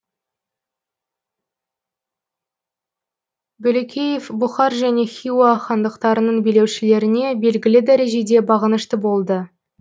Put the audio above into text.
бөлекеев бұхар және хиуа хандықтарының билеушілеріне белгілі дәрежеде бағынышты болды